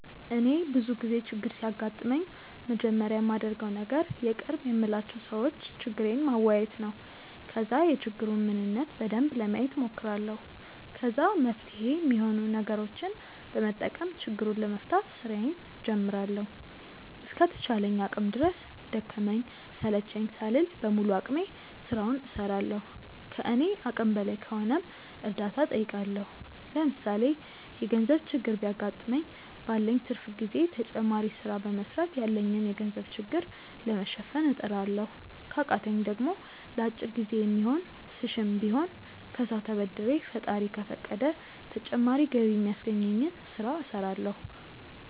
እኔ ብዙ ጊዜ ችግር ሲያጋጥመኝ መጀመሪያ ማደርገው ነገር የቅርብ የምላቸው ሰዎች ችግሬን ማዋየት ነው። ከዛ የችግሩን ምንነት በደንብ ለማየት ሞክራለሁ። ከዛ መፍትሄ ሚሆኑ ነገሮችን በመጠቀም ችግሩን ለመፍታት ስራዬን ጀምራለሁ። እስከ ተቻለኝ አቅም ድረስ ደከመኝ ሰለቸኝ ሳልል በሙሉ አቅሜ ስራውን እስራለሁ። ከኔ አቅም በላይ ከሆነም እርዳታ ጠይቃለሁ። ለምሳሌ የገርዘብ ችግር ቢያገጥመኝ ባለኝ ትርፍ ጊዜ ተጨማሪ ስራ በመስራት ያለብኝን የገንዘብ ችግር ለመሸፈን እጥራለሁ። ከቃተኝ ደሞ ለአጭር ጊዜ የሚሆን ስሽም ቢሆን ከሰው ተበድሬ ፈጣሪ ከፈቀደ ተጨማሪ ገቢ ሚያስገኘኝን ስለ እስራለሁ።